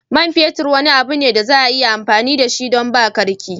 Man fetur wani abu ne da za a iya amfani da shi don ba da karki.